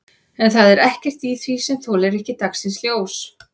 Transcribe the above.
En það er ekkert í því sem þolir ekki dagsins ljós?